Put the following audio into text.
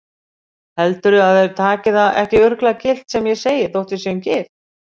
Heldurðu að þeir taki það ekki örugglega gilt sem ég segi þótt við séum gift?